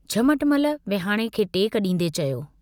झमटमल विहाणे खे टेक डींदे चयो।